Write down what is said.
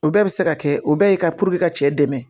O bɛɛ bɛ se ka kɛ o bɛɛ ye ka cɛ dɛmɛ